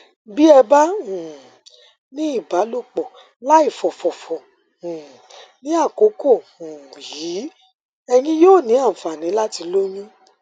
bí ẹ bá um ní ìbálòpọ láìfòfòfò um ní àkókò um yìí ẹyin yóò ní àǹfààní láti lóyún